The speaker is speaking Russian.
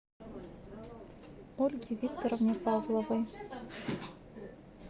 ольге викторовне павловой